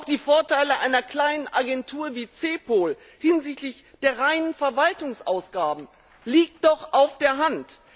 Auch die Vorteile einer kleinen Agentur wie CEPOL hinsichtlich der reinen Verwaltungsausgaben liegt doch auf der Hand!